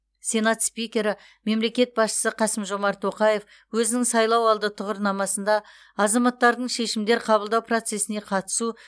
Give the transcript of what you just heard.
сенат спикері мемлекет басшысы қасым жомарт тоқаев өзінің сайлауалды тұғырнамасында азаматтардың шешімдер қабылдау процесіне қатысу